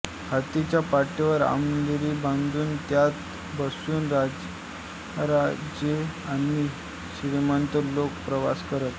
हत्तीच्या पाठीवर अंबारी बांधून त्यात बसून राजेमहाराजे आणि श्रीमंत लोक प्रवास करत